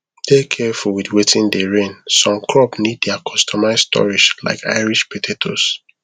dey careful with watin dey reign some crop need their customize storage like irish potatoes